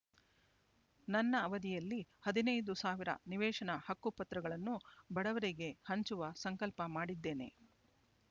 ನನ್ನ ಅವಧಿಯಲ್ಲಿ ಹದಿನೈದು ಸಾವಿರ ನಿವೇಶನ ಹಕ್ಕು ಪತ್ರಗಳನ್ನು ಬಡವರಿಗೆ ಹಂಚುವ ಸಂಕಲ್ಪ ಮಾಡಿದ್ದೇನೆ